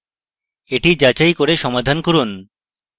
এটি যাচাই করে সমাধান করুন